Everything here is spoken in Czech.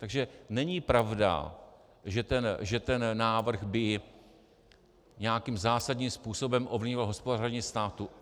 Takže není pravda, že ten návrh by nějakým zásadním způsobem ovlivnil hospodaření státu.